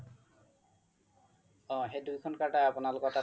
অ সেই দুইখন card য়ে আপোনালোকৰ তাত